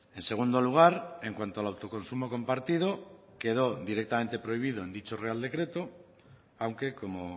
en segundo lugar en cuanto al autoconsumo compartido quedó directamente prohibido en dicho real decreto aunque como